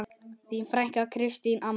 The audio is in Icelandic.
Þín frænka, Kristín Anna.